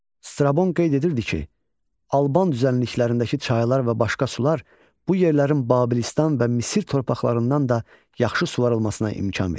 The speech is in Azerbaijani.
Strabon qeyd edirdi ki, Alban düzənliklərindəki çaylar və başqa sular bu yerlərin Babilistan və Misir torpaqlarından da yaxşı suvarılmasına imkan verir.